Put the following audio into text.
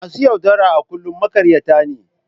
Masu yaudara a kullum maƙaryata ne.